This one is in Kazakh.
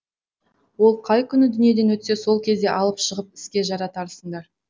ол қай күні дүниеден өтсе сол кезде алып шығып іске жаратарсыңдар